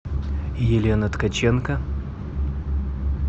елена ткаченко